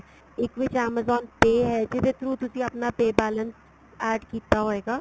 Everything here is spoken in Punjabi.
ਇੱਕ ਵਿੱਚ amazon pay ਹੈ ਜਿਹਦੇ through ਤੁਸੀਂ ਆਪਣਾ pay balance add ਕੀਤਾ ਹੋਏਗਾ